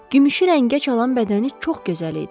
Gümüşü rəngə çalan bədəni çox gözəl idi.